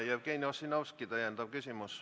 Jevgeni Ossinovski, täpsustav küsimus.